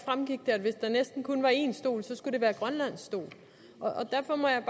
kun var én stol skulle det være grønlands stol og derfor må jeg